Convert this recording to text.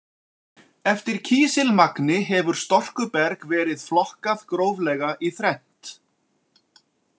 Eftir kísilmagni hefur storkuberg verði flokkað gróflega í þrennt